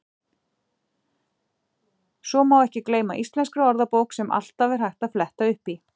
Svo má ekki gleyma Íslenskri orðabók sem alltaf er hægt að fletta upp í.